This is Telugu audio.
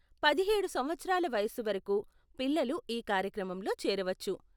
పదిహేడు సంవత్సరాల వయస్సు వరకు పిల్లలు ఈ కార్యక్రమంలో చేరవచ్చు.